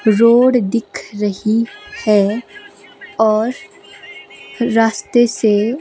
road दिख रही हैं और रास्ते से--